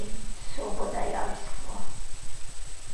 in sobodajalstvo.